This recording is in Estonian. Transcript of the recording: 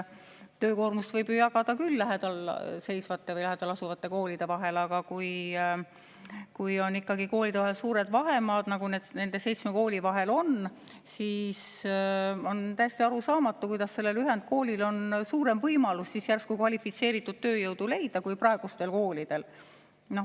Töökoormust võib ju jagada küll lähedal asuvate koolide vahel, aga kui on ikkagi koolide vahel suured vahemaad, nagu nende seitsme kooli vahel on, siis on täiesti arusaamatu, kuidas sellel ühendkoolil on järsku suurem võimalus kvalifitseeritud tööjõudu leida kui praegustel koolidel.